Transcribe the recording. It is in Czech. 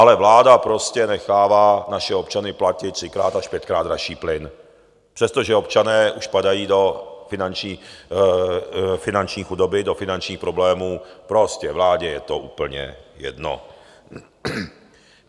Ale vláda prostě nechává naše občany platit třikrát až pětkrát dražší plyn, přestože občané už padají do finanční chudoby, do finančních problémů, prostě vládě je to úplně jedno.